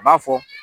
A b'a fɔ